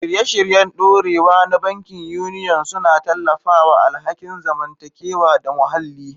Shirye-shiryen dorewa na bankin Union suna tallafawa alhakin zamantakewa da muhalli.